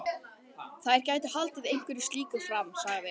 Þeir gætu haldið einhverju slíku fram sagði